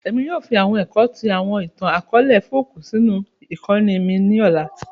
Èmi yoo fi àwọn ẹ̀kọ́ ti àwọn ìtàn-akọọlẹ folk sínú ìkóni mi ni ọ̀la